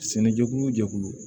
Sɛnɛjɛkulu o jɛkulu